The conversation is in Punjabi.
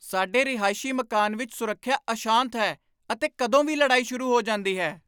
ਸਾਡੇ ਰਿਹਾਇਸ਼ੀ ਮਕਾਨ ਵਿੱਚ ਸੁਰੱਖਿਆ ਅਸ਼ਾਂਤ ਹੈ ਅਤੇ ਕਦੋਂ ਵੀ ਲੜਾਈ ਸ਼ੁਰੂ ਹੋ ਜਾਂਦੀ ਹੈ।